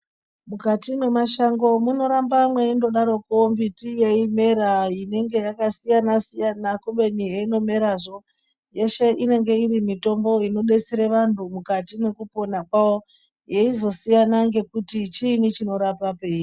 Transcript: Mukati mwemashango munoramba mweingodaroko mbiti yeimera inenge yakasiyana siyana kubeni heino merazvo yeshe inenge irimitombo inodetsere vanhu mukati mwekupona kwawo yeizosiyana kuti chiini chinorapa peiri.